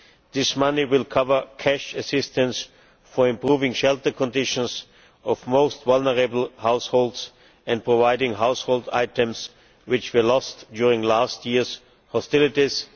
This money will cover cash assistance for improving shelter conditions for the most vulnerable households and providing household items which were lost during last year's hostilities.